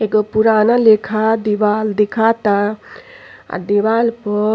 एगो पुराना लेखा दीवाल दिखाता आ दीवाल प --